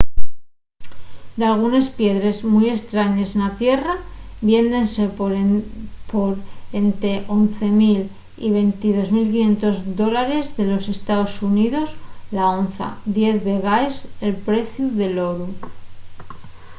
dalgunes piedres mui estrañes na tierra viéndense por ente 11 000 y 22 500 dólares de los estaos xuníos la onza diez vegaes el preciu del oru